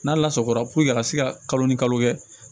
N'a lasagora a ka se ka kalo ni kalo kɛ